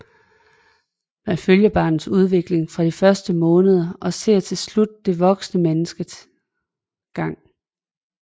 Man følger barnets udvikling fra de første måneder og ser til slut det voksne menneskes gang